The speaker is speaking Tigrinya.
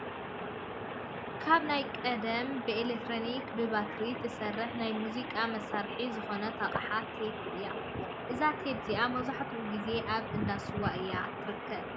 ካብ ናይ ቀደም ብኤሌክትሪክን ብባትሪን ትሰርሕ ናይ ሙዚቃ መሳሪሒት ዝኮነት ኣቅሓ ቴፕ እያ። እዛ ቴብ እዚ መብዛሕቲኡ ግዜ ኣብ እንዳ ስዋታት እያ ትርከብ።